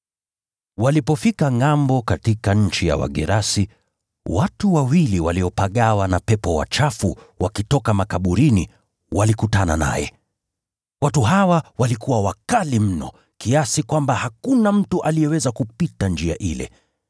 Walipofika ngʼambo katika nchi ya Wagerasi, watu wawili waliopagawa na pepo wachafu walitoka makaburini nao wakakutana naye. Watu hawa walikuwa wakali mno kiasi kwamba hakuna mtu aliyeweza kupita njia ile.